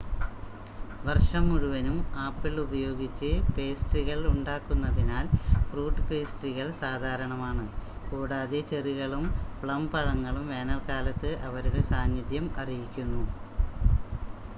വർഷം മുഴുവനും ആപ്പിൾ ഉപയോഗിച്ച് പേസ്ട്രികൾ ഉണ്ടാക്കുന്നതിനാൽ ഫ്രൂട്ട് പേസ്ട്രികൾ സാധാരണമാണ് കൂടാതെ ചെറികളും പ്ലം പഴങ്ങളും വേനൽക്കാലത്ത് അവരുടെ സാന്നിധ്യം അറിയിക്കുന്നു